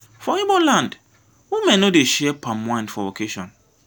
for ibo land women no dey share palm wine for occasion.